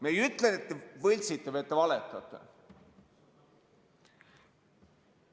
Me ei ütle, et te võltsite või et te valetate.